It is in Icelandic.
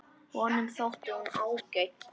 Honum þótti hún ágæt.